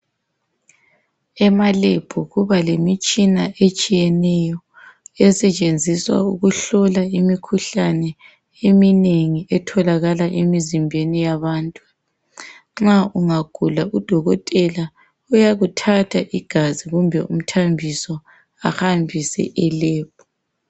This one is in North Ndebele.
Ema lab kuba lemitshina etshiyeneyo esetshenziswa ukuhlola imikhuhlane eminengi etholakala emizimbeni yabantu nxa ungagula udokotela uyakuthatha igazi kumbe umthambiso ahambise elab.